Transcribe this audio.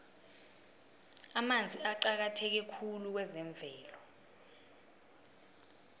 amanzi aqakatheke khulu kwezemvelo